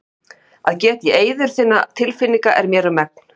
Að geta í eyður þinna tilfinninga er mér um megn.